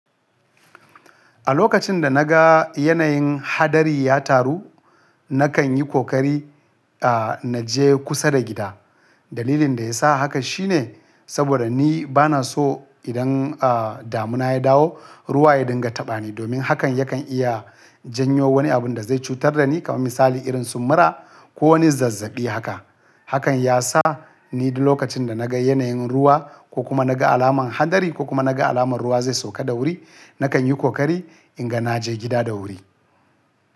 A lokacin da na ga yanayin hadari ya taru, na kan yi kokari, a, na je kusa da gida. Dalilin da ya sa haka shine saboda ni ba na so idan, a, damuna ya dawo, ruwa ya dinga taɓa ni domin hakan yakan iya janyo wani abun da zai cutar da ni kamar misali irin su mura ko wani zazzabi haka. Hakan ya sa ni duk lokacin da na ga yanayin ruwa ko kuma na ga alamar hadari ko kuma na ga alamar ruwa zai sauka da wuri, na kan yi kokari in ga na je gida da wuri.